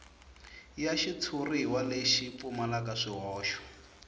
ya xitshuriwa lexi pfumalaka swihoxo